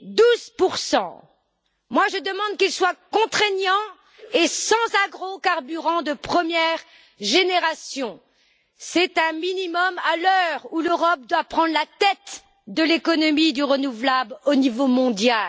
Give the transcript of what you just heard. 12 Moi, je demande qu'il soit contraignant et sans agrocarburants de première génération. C'est un minimum, à l'heure où l'Europe doit prendre la tête de l'économie du renouvelable au niveau mondial.